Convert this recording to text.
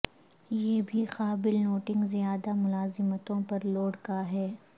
یہ بھی قابل نوٹنگ زیادہ ملازمتوں پر لوڈ کا ہے